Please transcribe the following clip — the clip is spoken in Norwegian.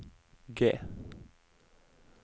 G